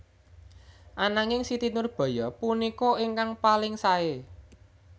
Ananging Siti Nurbaya punika ingkang paling saé